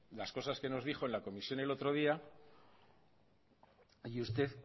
las cosas que nos dijo en la comisión el otro día y usted